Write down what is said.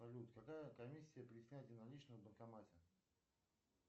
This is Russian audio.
салют какая комиссия при снятии наличных в банкомате